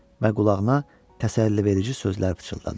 Və qulağına təsəlliverici sözlər pıçıldadı.